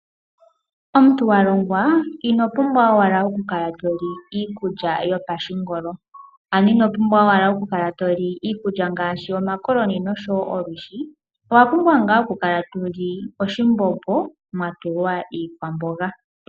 Omuntu walongwa ino pumbwa owala oku kala toli iikulya yopashingolo, ano ino pumbwa owala okukala toli iikulya ngaashi omakoloni nosho woo olwishi, owa pumbwa ngaa okukala toli oshimbombo mwatulwa iikwamboga.